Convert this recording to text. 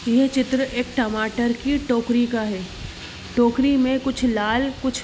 यह चित्र एक टमाटर की टोकरी का है टोकरी मे कुछ लाल कुछ --